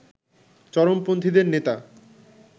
চরমপন্থীদের নেতা